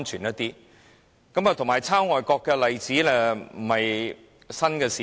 至於抄襲外國的例子亦非新事物。